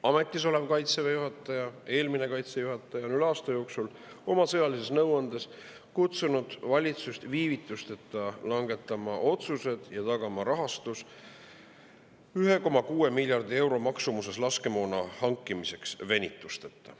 Ametis olev Kaitseväe juhataja ja eelmine Kaitseväe juhataja on oma sõjalises nõuandes kutsunud valitsust üles viivitusteta langetama otsused ja tagama rahastuse 1,6 miljardi euro maksumuses laskemoona venitusteta hankimiseks.